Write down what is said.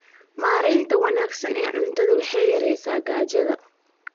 Maareynta wanaagsan ee cuntada waxay yaraysaa gaajada.